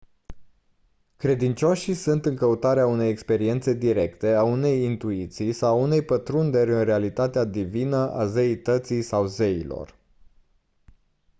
credincioșii sunt în căutarea unei experiențe directe a unei intuiții sau a unei pătrunderi în realitatea divină/a zeității sau zeilor